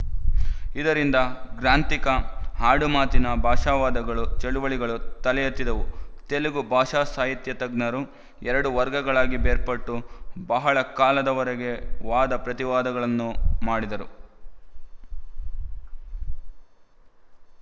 ಇದರಿಂದ ಗ್ರಾಂಥಿಕ ಆಡುಮಾತಿನ ಭಾಷಾವಾದಗಳು ಚಳವಳಿಗಳು ತಲೆಯೆತ್ತಿದವು ತೆಲುಗು ಭಾಷಾಸಾಹಿತ್ಯಜ್ಞರು ಎರಡು ವರ್ಗಗಳಾಗಿ ಬೇರ್ಪಟ್ಟು ಬಹಳ ಕಾಲದವರೆಗೆ ವಾದ ಪ್ರತಿವಾದಗಳನ್ನು ಮಾಡಿದರು